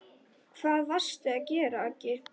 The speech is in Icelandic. Hvað varstu að gera, Aggi.